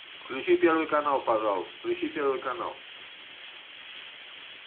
включи первый канал пожалуйста включи первый канал